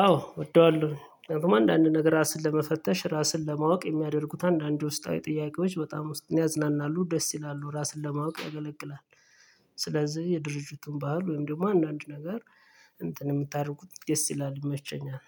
አወ እወደዋለሁደግሞ አንዳንድ ነገር ራስን ለመፈተሽ ራስን ለማወቅ የሚያደርጉት አንዳንድ ውስጣዊ ጥያቄዎች በጣም ዉስጥን ያፅናናሉ ደስ ይላሉ ራስን ለማወቅ ያገለግላል። ስለዚህ የድርጅቱን ባህል ወይም ደግሞ አንዳንድ ነገር እንትን የምታደርጉት ደስ ይላል ይመቸኛል።